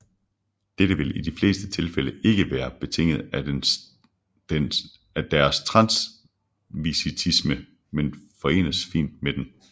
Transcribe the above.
Dette vil i de fleste tilfælde ikke være betinget af deres transvestisme men forenes fint med den